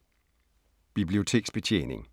Biblioteksbetjening